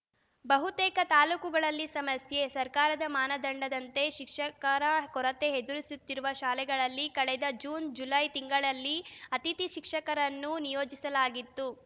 ಬಹುತೇಕ ತಾಲೂಕುಗಳಲ್ಲಿ ಸಮಸ್ಯೆ ಸರ್ಕಾರದ ಮಾನದಂಡದಂತೆ ಶಿಕ್ಷಕರ ಕೊರತೆ ಎದುರಿಸುತ್ತಿರುವ ಶಾಲೆಗಳಲ್ಲಿ ಕಳೆದ ಜೂನ್‌ ಜುಲೈ ತಿಂಗಳಲ್ಲಿ ಅತಿಥಿ ಶಿಕ್ಷಕರನ್ನು ನಿಯೋಜಿಸಲಾಗಿತ್ತು